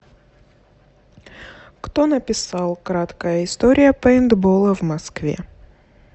кто написал краткая история пэйнтбола в москве